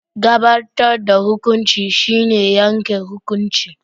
Gabatar da hukunci shine yanke hukunci.